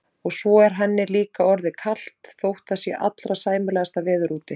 Og svo er henni líka orðið kalt þótt það sé allra sæmilegasta veður úti.